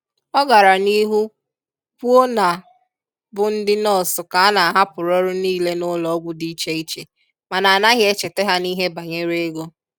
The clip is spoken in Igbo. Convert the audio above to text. Ọ gara n'ihu kwuo na bụ ndị nọọsụ ka a na-ahapụrụ ọrụ niile n'ụlọọgwụ dị iche iche mana a naghị echeta ha n'ihe banyere ego.